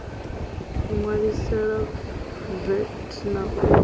ṋwaliselwa vat na u ṱu